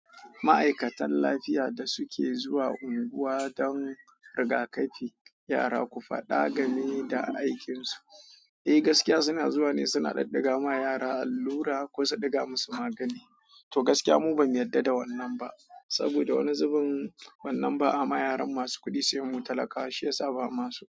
Ma'aikatan lafiya da suke zuwa unguwa don riga-kafi yara, ku faɗa game da aikin su. Eh gaskiya suna zuwa ne suna daddagawa yara allura ko su diga masu magani. To gaskiya mu bamu yarda da wannan ba. Saboda wani zubin wannan ba'a yima yaran masu kudi sai mu talakawa, shiyasa bamaso.